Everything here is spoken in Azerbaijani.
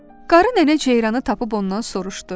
Qarı nənə ceyranı tapıb ondan soruşdu: